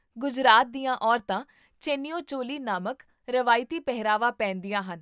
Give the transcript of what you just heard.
ਗੁਜਰਾਤ ਦੀਆਂ ਔਰਤਾਂ ਚੈਨੀਓ ਚੋਲੀ ਨਾਮਕ ਰਵਾਇਤੀ ਪਹਿਰਾਵਾ ਪਹਿਨਦੀਆਂ ਹਨ